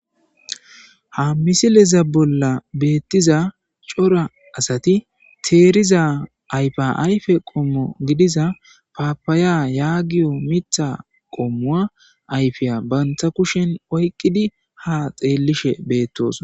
Ha missile bola betiza c'ora asati teriza ayfa ayfe qomo gidiza papaya yagiyo Mitha qomowa ayfiya banta kusheni oyqidi ha xelishe betosona.